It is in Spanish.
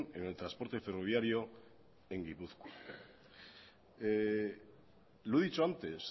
en el transporte ferroviario en gipuzkoa lo he dicho antes